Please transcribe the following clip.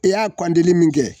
I y'a kɔndili min kɛ